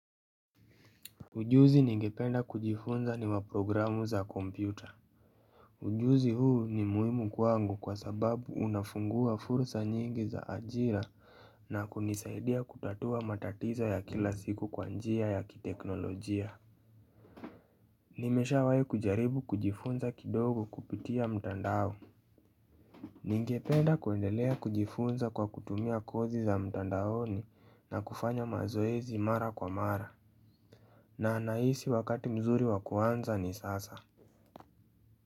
Ujuzi ningependa kujifunza ni wa programu za kompyuta Ujuzi huu ni muhimu kwangu kwa sababu unafungua fursa nyingi za ajira na kunisaidia kutatua matatizo ya kila siku kwa njia ya kiteknolojia. Nimeshawahi kujaribu kujifunza kidogo kupitia mtandao Ningependa kuendelea kujifunza kwa kutumia kozi za mtandaoni na kufanya mazoezi mara kwa mara na nahisi wakati mzuri wa kuanza ni sasa.